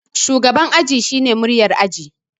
Shugaban aji shine muryar aji